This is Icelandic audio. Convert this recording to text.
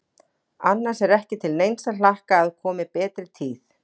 Annars er ekki til neins að hlakka að komi betri tíð.